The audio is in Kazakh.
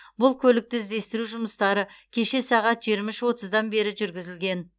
бұл көлікті іздестіру жұмыстары кеше сағат жиырма отыздан бері жүргізілген